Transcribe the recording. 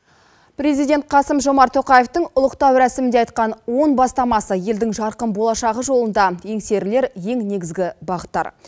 президент қасым жомарт тоқаевтың ұлықтау рәсімінде айтқан он бастамасы елдің жарқын болашағы жолында еңсерілер ең негізгі бағыттар